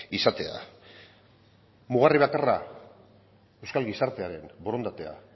izatea da mugarri bakarra euskal gizartearen borondatea